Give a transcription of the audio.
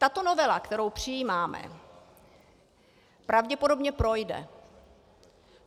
Tato novela, kterou přijímáme, pravděpodobně projde.